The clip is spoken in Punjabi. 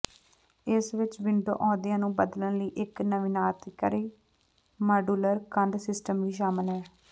ਇਸ ਵਿਚ ਵਿੰਡੋ ਅਹੁਦਿਆਂ ਨੂੰ ਬਦਲਣ ਲਈ ਇਕ ਨਵੀਨਤਾਕਾਰੀ ਮਾਡੂਲਰ ਕੰਧ ਸਿਸਟਮ ਵੀ ਸ਼ਾਮਲ ਹੈ